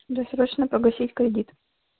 досрочно погасить кредит